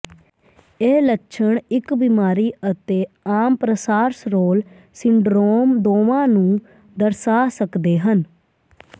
ਇਹ ਲੱਛਣ ਇਕ ਬਿਮਾਰੀ ਅਤੇ ਆਮ ਪ੍ਰਸਾਰਸਰੋਲ ਸਿੰਡਰੋਮ ਦੋਵਾਂ ਨੂੰ ਦਰਸਾ ਸਕਦੇ ਹਨ